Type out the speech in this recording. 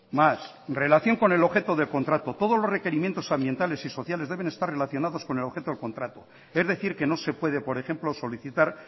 más relación con el objeto de contrato todos los requerimientos ambientales y sociales deben estar relacionados con el objeto del contrato es decir que no se puede por ejemplo solicitar